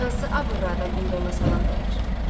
Hansı abrılı adam indi ona salam verər?